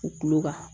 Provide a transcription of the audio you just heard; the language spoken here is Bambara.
U kulo kan